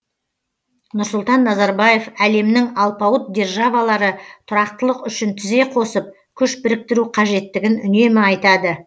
нұрсұлтан назарбаев әлемнің алпауыт державалары тұрақтылық үшін тізе қосып күш біріктіру қажеттігін үнемі айтады